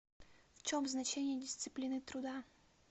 в чем значение дисциплины труда